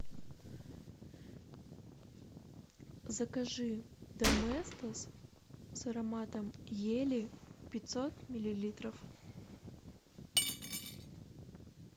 закажи доместос с ароматом ели пятьсот миллилитров